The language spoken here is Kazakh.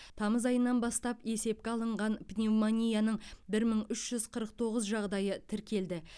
тамыз айынан бастап есепке алынған пневмонияның бір мың үш жүз қырық тоғыз жағдайы тіркелді